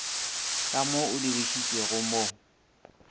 ka mo o dirišitšwego mo